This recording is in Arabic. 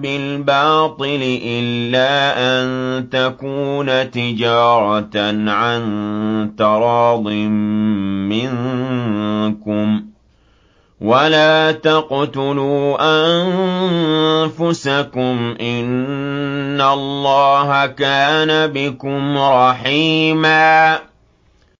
بِالْبَاطِلِ إِلَّا أَن تَكُونَ تِجَارَةً عَن تَرَاضٍ مِّنكُمْ ۚ وَلَا تَقْتُلُوا أَنفُسَكُمْ ۚ إِنَّ اللَّهَ كَانَ بِكُمْ رَحِيمًا